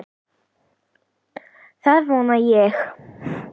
Það vona ég